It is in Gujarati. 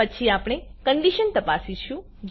પછી આપણે કન્ડીશન તપાસીશું